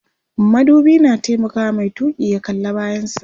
madubi na taimakawa Mai tuki ya kalla bayan sa